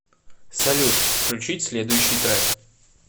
салют включить следующий трэк